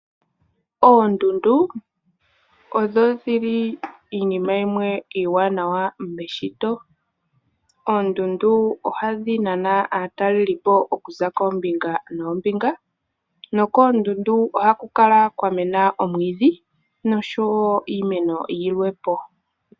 Oondundu odho dhili iinima yimwe iiwaanawa meshito. Oondundu ohadhi nana aataleli po okuza koombinga noombinga nokoondundu ohaku kala kwa mena omwiidhi noshowo iimeno yilwe po.